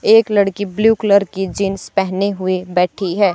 एक लड़की blue colour की जींस पहने हुए बैठी है।